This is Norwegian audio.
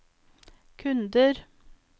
kunder